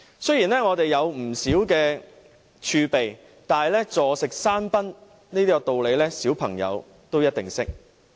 雖然我們有不少儲備，但坐食山空的道理，連小朋友也一定懂得。